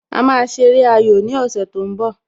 A ṣe eré ayò ní ọ̀sẹ̀ tó ń bọ